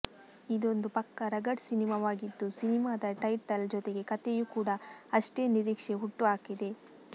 ಇದೊಂದು ಪಕ್ಕಾ ರಗಡ್ ಸಿನಿಮಾವಾಗಿದ್ದು ಸಿನಿಮಾದ ಟೈಟಲ್ ಜೊತೆಗೆ ಕಥೆಯೂ ಕೂಡ ಅಷ್ಟೇ ನಿರೀಕ್ಷೆ ಹುಟ್ಟುಹಾಕಿದೆ